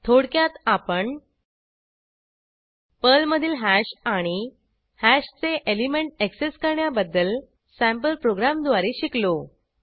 थोडक्यात आपण पर्लमधील हॅश आणि हॅशचे एलिमेंट ऍक्सेस करण्याबद्दल सँपल प्रोग्रॅमद्वारे शिकलो